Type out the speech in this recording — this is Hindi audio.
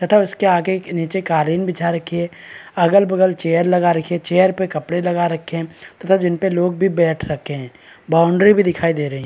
तथा उसके आगे नीचे कालीन बिछा रखी है अगल -बगल चेयर लगा रखी है चेयर पे कपड़ा लगा रखे है तथा जिन पे लोग बैठ भी रखे है बॉउंड्री भी दिखाई दे रही है।